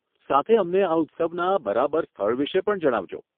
સાથે અમને આ ઉત્સવના બરાબર સ્થળ વિષે પણ જણાવજો.